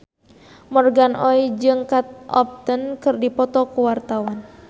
Morgan Oey jeung Kate Upton keur dipoto ku wartawan